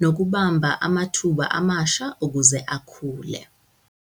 nokubamba amathuba amasha ukuze akhule.